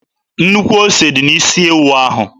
Nnukwu ose dị n'isi ewu ahụ.